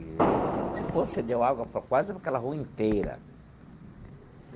Eee esse poço cedeu água para quase aquela rua inteira.